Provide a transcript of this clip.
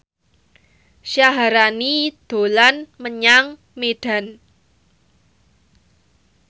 Syaharani dolan menyang Medan